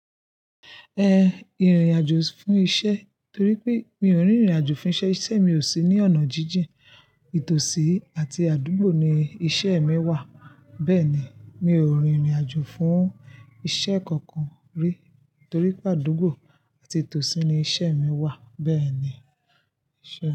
Ẹ, ìrìn-àjò fún isẹ́ torí pé mi ò n rin ìrìn-àjò fún isẹ́, isẹ́ mi ò sí ní onà jíjìn, ìtòsí àti àdúgbò ni iṣẹ́ mi wà. Bẹ́ẹ̀ni, mi ò rin ìrìn-àjò fún isẹ́ kankan rí torí pe àdúgbò àti ìtòsí ni iṣẹ́ mi wà, bẹ́ẹ̀ ni.